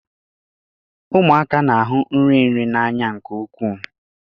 Ụmụaka na-ahụ nri nri n'anya nke ukwuu.